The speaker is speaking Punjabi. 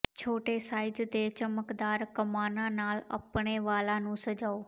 ਛੋਟੇ ਸਾਈਜ਼ ਦੇ ਚਮਕਦਾਰ ਕਮਾਨਾਂ ਨਾਲ ਆਪਣੇ ਵਾਲਾਂ ਨੂੰ ਸਜਾਓ